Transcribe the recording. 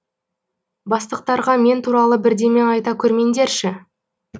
бастықтарға мен туралы бірдеме айта көрмеңдерші